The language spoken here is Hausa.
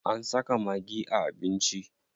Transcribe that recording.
An saka maggi a abinci.